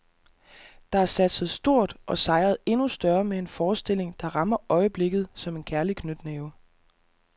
Der er satset stort og sejret endnu større med en forestilling, der rammer øjeblikket som en kærlig knytnæve.